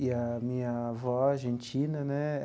E a minha avó argentina, né?